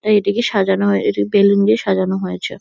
এইটিকে সাজানো হয়ে এটিকে বেলুন দিয়ে সাজানো হয়েছে।